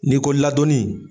N'i ko laadonni